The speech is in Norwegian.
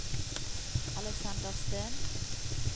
Aleksander Steen